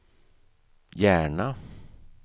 Järna